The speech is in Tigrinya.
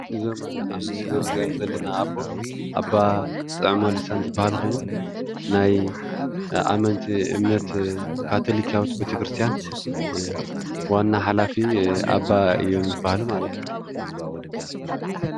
እዞም ኣብ ምስሊ እንሪኦም ዘለና ኣቦ ኣባ ጥዑመ ልሳን ዝባሃሉ ኮይኖም ናይ ኣመንቲ እምነት ካታሊካዊት ቤተክርስትያን ዋና ሓላፊ ኣባ እዮብ ዝባሃሉ ማለት እዩ፡፡